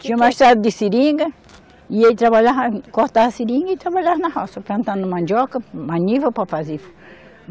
Tinha uma estrada de seringa, e ele trabalhava, cortava a seringa e trabalhava na roça, plantando mandioca, maniva para fazer.